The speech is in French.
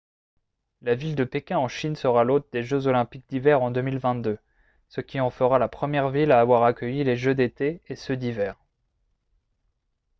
la ville de pékin en chine sera l'hôte des jeux olympiques d'hiver en 2022 ce qui en fera la première ville à avoir accueilli les jeux d'été et ceux d'hiver